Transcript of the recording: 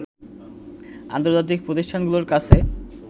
আন্তজার্তিক প্রতিষ্ঠানগুলোর কাছে